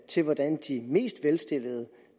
til hvordan de mest velstillede